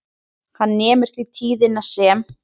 Hann nemur því tíðnina sem